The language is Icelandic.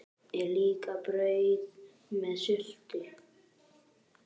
Er líka brauð með sultu?